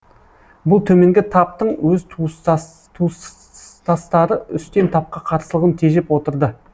бұл төменгі таптың өз туыстастары үстем тапқа қарсылығын тежеп отырды